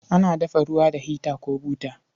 Ana dafa ruwa da hita ko buta.